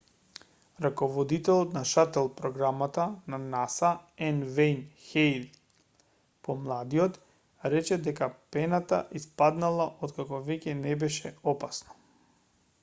раководителот на шатл програмата на наса н вејн хејл помладиот рече дека пената испаднала откако веќе не беше опасно